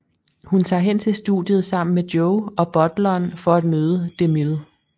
Hun tager hen til studiet sammen med Joe og butleren for at møde DeMille